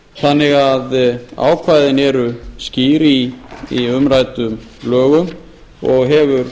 þannig að ákvæðin eru skýr í umræddum lögum og hefur